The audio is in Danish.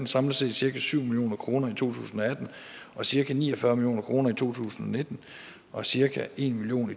samlet set cirka syv million kroner i to tusind og atten og cirka ni og fyrre million kroner i to tusind og nitten og cirka en million